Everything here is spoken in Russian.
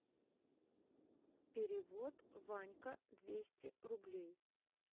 перевод ванька двести рублей